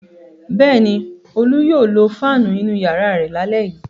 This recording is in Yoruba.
Bẹ́ẹ̀ ni, Olú yóò lo fáánù inú ìyàrá rẹ̀ lálẹ́ yìí.